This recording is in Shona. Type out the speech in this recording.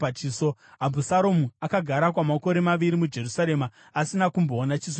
Abhusaromu akagara kwamakore maviri muJerusarema asina kumboona chiso chamambo.